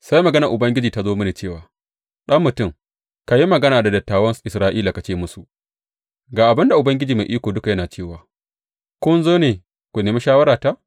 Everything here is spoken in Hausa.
Sai maganar Ubangiji ta zo mini cewa, Ɗan mutum, ka yi magana da dattawan Isra’ila ka ce musu, Ga abin da Ubangiji Mai Iko Duka yana cewa kun zo ne ku nemi shawarata?